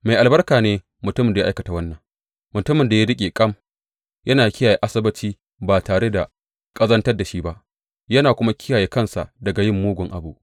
Mai albarka ne mutumin da ya aikata wannan, mutumin da ya riƙe kam yana kiyaye Asabbaci ba tare da ƙazantar da shi ba, yana kuma kiyaye kansa daga yin mugun abu.